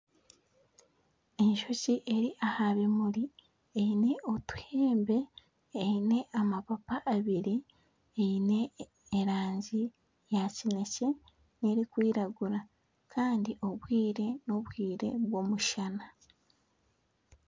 Enjoki eri aha bimuri eine otuhembe Eine amapapa abiri eine erangi ya kinekye nerikwiragura Kandi obwire nobwire bw'omushana